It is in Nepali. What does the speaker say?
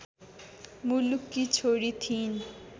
मुलककी छोरी थिइन्